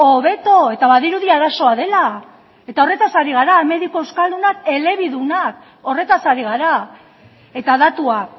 hobeto eta badirudi arazoa dela eta horretaz ari gara mediku euskaldunak elebidunak horretaz ari gara eta datua